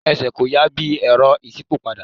Ẹsẹ̀ kò yà bí i Ẹ̀rọ ìṣípòpadà.